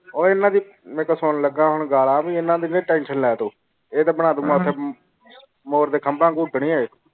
ਉਹ ਐਨਾ ਦੀ ਮੇਰੇ ਕੋਲੂ ਸੁਨਣ ਲਗਾ, ਹੁਣ ਗਾਲ੍ਹਾਂ ਵੀ ਐਨਾ ਦੀ ਨੀ ਲੈ ਤੋਂ। ਇਹ ਤੇ ਬਣਾ ਦੁ ਮਤਲਬ ਮੋਰ ਦੇ ਖਾਮ੍ਬਾ ਕੁਟਨੀ ਇਹ।